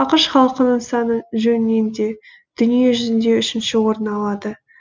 ақш халқының саны жөнінен де дүние жүзінде үшінші орын алады